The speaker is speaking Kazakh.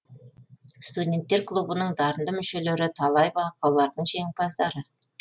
студенттер клубының дарынды мүшелері талай байқаулардың жеңімпаздары